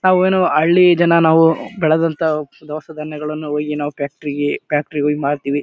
ತಾವು ಏನೋ ಹಳ್ಳಿ ಜನಾ ನಾವು ಬೆಳೆದಂತ ದಾವ್ಷೆಗಳನ್ನ ಅವುಗಳಿಗೆ ನಾವ್ ಫ್ಯಾಕ್ಟರಿ ಗೆ ಫ್ಯಾಕ್ಟರಿ ಗಳಿಗೆ ಮರ್ತಿವಿ.